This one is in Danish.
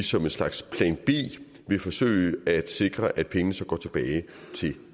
som en slags plan b vil forsøge at sikre at pengene går tilbage til